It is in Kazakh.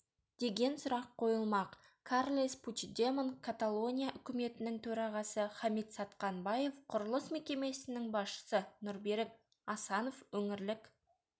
деген сұрақ қойылмақ карлес пучдемон каталония үкіметінің төрағасы хамит сатқанбаев құрылыс мекемесінің басшысы нұрберік асанов өңірлік